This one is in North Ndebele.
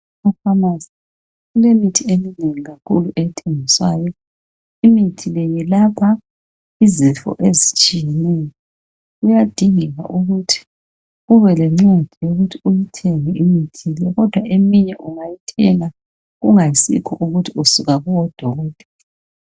e phamarcy kulemithi eminengi kakhulu ethengiswayo imithi le yelapha izifo ezitshiyeneyo kuyadingeka ukuthi ube lencwadi yokuthi uyithenge imithi le kodwa eminye ungayithenga kungayisikho ukuthi usuka kubo dokotela